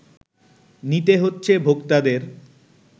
নিতে হচ্ছে ভোক্তাদের